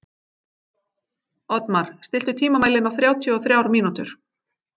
Oddmar, stilltu tímamælinn á þrjátíu og þrjár mínútur.